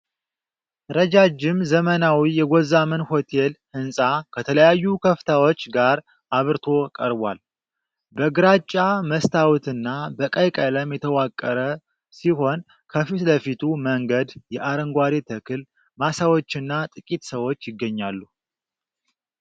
ረጃጅም ዘመናዊ የጎዛመን ሆቴል ህንፃ ከተለያዩ ከፍታዎች ጋር አብርቶ ቀርቧል:: በግራጫ መስታወትና በቀይ ቀለም የተዋቀረ ሲሆን፣ ከፊት ለፊቱ መንገድ፣ የአረንጓዴ ተክል ማሳዎችና ጥቂት ሰዎች ይገኛሉ::